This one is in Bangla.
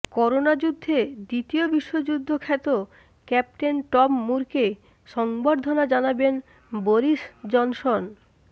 করোনা যুদ্ধে দ্বিতীয় বিশ্বযুদ্ধ খ্যাত ক্যাপ্টেন টম মুরকে সংবর্ধনা জানাবেন বরিস জনসন